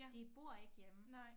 De bor ikke hjemme